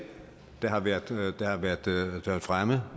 der har været fremme